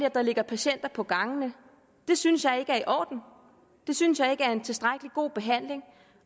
at der ligger patienter på gangene det synes jeg ikke er i orden det synes jeg ikke er en tilstrækkelig god behandling